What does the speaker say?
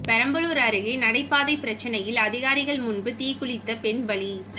பெரம்பலூர் அருகே நடைபாதை பிரச்சினையில் அதிகாரிகள் முன்பு தீக்குளித்த பெண் பலி